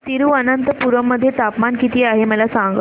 तिरूअनंतपुरम मध्ये तापमान किती आहे मला सांगा